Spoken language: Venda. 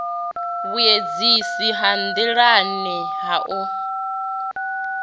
vhuendisi ha nḓilani ha u